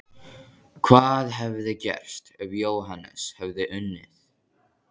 Hvað hefði gerst ef Jóhannes hefði unnið?!